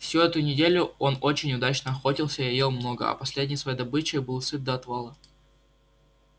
всю эту неделю он очень удачно охотился и ел много а последней своей добычей был сыт до отвала